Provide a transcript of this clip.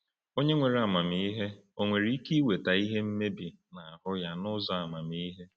Onye nwere amamihe ò nwere ike iweta mmebi n’ahụ ya n’ụzọ amamihe?